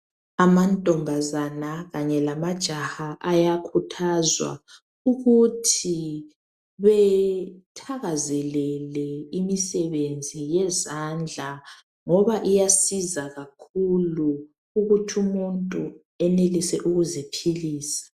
Amantombazana kanye lamajaha ,ayakhuthazwa ukuthi bethakazelele imisebenzi yezandla .Ngoba iyasiza kakhulu ukuthi umuntu enelise ukuziphilisa.